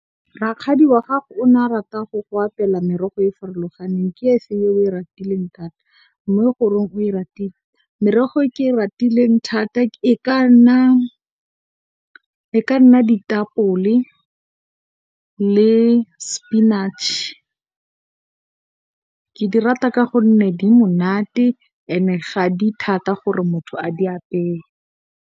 Rakgadi wa gago o ne a rata go go apela merogo e e farologaneng ke e feng e o e ratileng thata mme, goreng o e ratile? Merogo e ke e ratileng thata e ka nna ditapole le sepinatšhe ke e rata ka gonne, e monate and ga e thata gore motho a e apeye.